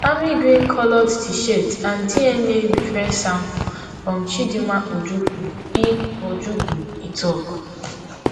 army green coloured tshirt and dna reference sample from chidinma ojukwu e ojukwu e tok